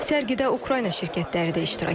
Sərgidə Ukrayna şirkətləri də iştirak edib.